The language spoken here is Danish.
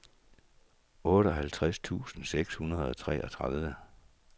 otteoghalvtreds tusind seks hundrede og treogtredive